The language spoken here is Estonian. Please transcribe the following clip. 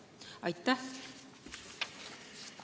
Aitäh!